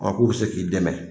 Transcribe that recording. ko bɛ se k'i dɛmɛ.